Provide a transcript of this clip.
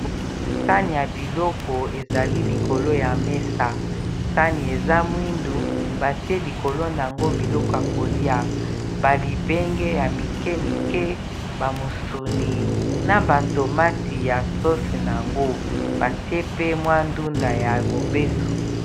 Sani ya biloko ezali likolo ya mesa sani eza mwindu batie likolo nango biloko ya kolia ba libenge ya mikie mikie bamusuni na ba tomati ya sose nayango batie pe mwa ndunda ya mobeso.